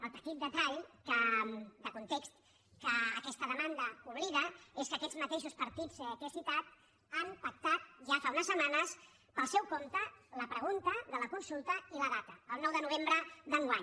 el petit detall de context que aquesta demanda oblida és que aquests mateixos partits que he citat han pactat ja fa unes setmanes pel seu compte la pregunta de la consulta i la data el nou de novembre d’enguany